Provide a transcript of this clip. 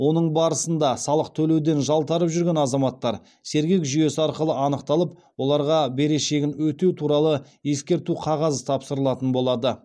оның барысында салық төлеуден жалтарып жүрген азаматтар сергек жүйесі арқылы анықталып оларға берешегін өтеу туралы ескерту қағазы тапсырылатын болады